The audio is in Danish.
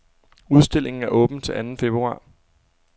Udstillingen er åben til anden februar.